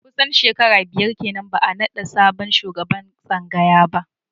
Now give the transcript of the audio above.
Kusan shekara biyar kenan ba a naɗa sabon shugaban tsangaya ba